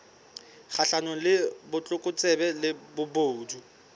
kgahlanong le botlokotsebe le bobodu